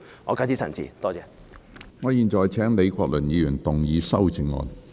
我現在請李國麟議員動議修正案。